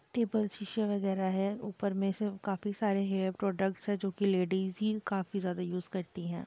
Table शीशे वगैरह है ऊपर में सब काफी सारे हेयर प्रोडक्ट्स हैं जो की लेडीज़ ही काफी ज्यादा यूज करती हैं।